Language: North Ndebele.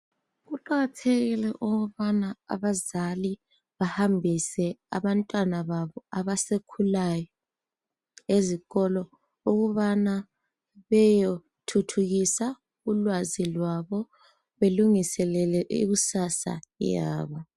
Kuqakathekile ukubana abazali bahambise abantwana babo abasakhulayo ezikolo ukubana bayethuthukisa ulwazi lwabo belunguselele ikusasa yabo.